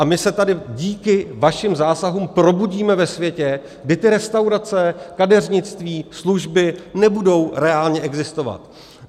A my se tady díky vašim zásahům probudíme ve světě, kdy ty restaurace, kadeřnictví, služby nebudou reálně existovat.